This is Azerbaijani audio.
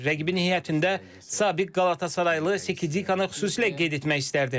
Rəqibin heyətində sabiq Qalatasaraylı Sikanı xüsusilə qeyd etmək istərdim.